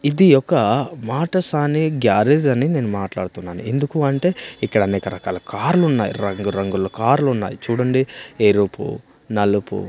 ఇది ఒక మాట సానే గ్యారేజ్ అని నేను మాట్లాడుతున్నాను ఎందుకు అంటే ఇక్కడ అనేక రకరకాల కార్లు ఉన్నాయి రంగు రంగులు కార్లు ఉన్నాయి చూడండి ఎరుపు నలుపు--